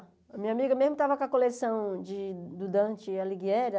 A minha amiga mesmo estava com a coleção de do Dante Alighieri.